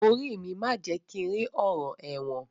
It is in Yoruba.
Orí mi má jẹ̀ kí n rí ọ̀ràn ẹ̀wọ̀n